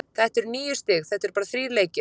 Þetta eru níu stig- þetta eru bara þrír leikir.